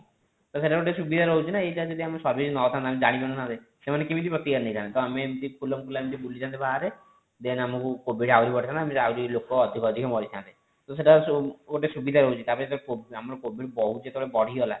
ସେଇଟା ଗୋଟେ ସୁବିଧା ରହୁଛି ନା ଏଇଟା ଯଦି ଆମେ service ନ ଥାନ୍ତା ଆମେ ଜାଣି ପାରି ନଥାନ୍ତେ ସେମାନେ କେମିତି ପ୍ରତିକାର ନେଇଥାନ୍ତେ ତ ଆମେ ଏମିତି ଖୁଲମ ଖୁଲା ଏମିତି ବୁଲି ଥାନ୍ତେ ବାହାରେ then ଆମକୁ covid ଆହୁରି ବଢି ଥାନ୍ତା ତ ଆହୁରି ଲୋକ ଅଧିଳ ଅଧିକ ମରିଥାନ୍ତେ ତ ସେଇଟା ଗୋଟେ ସୁବିଧା ରହୁଛି ତାପରେ ଯେତେବେଳେ କୋ ଆମର covid ଯେତେବେଳେ ବହୁତ ବଢି ଗଲା